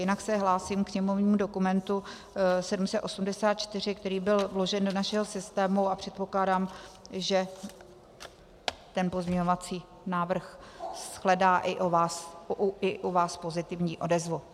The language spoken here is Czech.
Jinak se hlásím ke sněmovnímu dokumentu 784, který byl vložen do našeho systému, a předpokládám, že ten pozměňovací návrh shledá i u vás pozitivní odezvu.